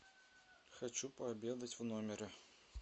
хочу пообедать в номере